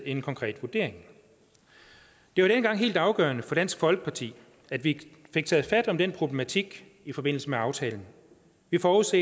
en konkret vurdering det var dengang helt afgørende for dansk folkeparti at vi fik taget fat på den problematik i forbindelse med aftalen vi forudså